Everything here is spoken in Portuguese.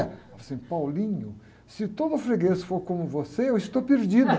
Ela falou assim, se todo freguês for como você, eu estou perdida.